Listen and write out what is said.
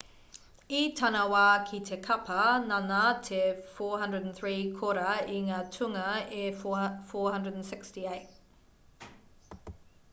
i tana wā ki te kapa nāna te 403 kōrā i ngā tūnga e 468